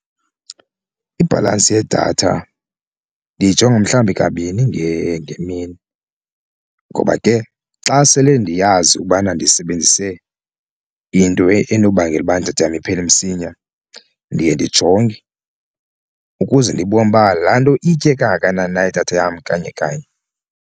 Ibhalansi yedatha ndiyijonga mhlawumbi kabini ngemini ngoba ke xa sele ndiyazi ukubana ndisebenzise into enobangela iphele msinya ndiye ndijonge ukuze ndibone uba laa nto iyitye kangakanani na idatha yam kanye kanye.